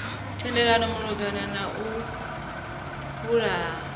themendelo malugana na u huvhala